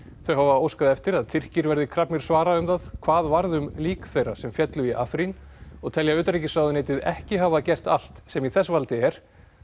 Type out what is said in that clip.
þau hafa óskað eftir að Tyrkir verði krafnir svara um það hvað varð um lík þeirra sem féllu í og telja utanríkisráðuneytið ekki hafa gert allt sem í þess valdi er